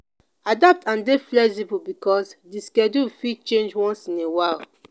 adapt and dey flexible because the schedule fit change once in a while